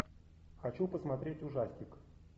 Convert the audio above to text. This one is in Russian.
хочу посмотреть ужастик